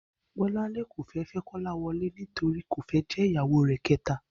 Bó̩láńlé kò fé̩ fé̩ Kó̩láwo̩lé nítorí kò fé̩ jé̩ ìyàwó rè̩ ké̩ta